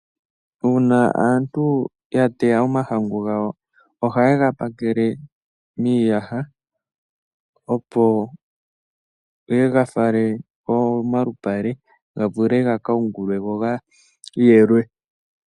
Uuna aantu ya teya omahangu gawo, ohaye ga pakele miiyaha, opo ye ga fale pomalupale ga vule gaka yungulwe go gayelwe.